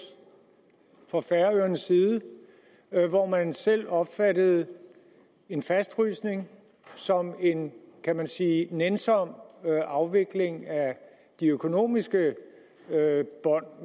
fra færøernes side hvor man selv opfattede en fastfrysning som en kan man sige nænsom afvikling af de økonomiske bånd